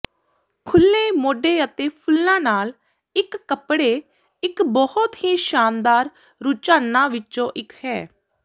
ਖੁੱਲ੍ਹੇ ਮੋਢੇ ਅਤੇ ਫੁੱਲਾਂ ਨਾਲ ਇੱਕ ਕੱਪੜੇ ਇੱਕ ਬਹੁਤ ਹੀ ਸ਼ਾਨਦਾਰ ਰੁਝਾਨਾਂ ਵਿੱਚੋਂ ਇੱਕ ਹੈ